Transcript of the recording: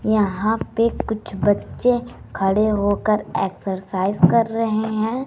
यहां पे कुछ बच्चे खड़े होकर एक्सरसाइज कर रहे हैं।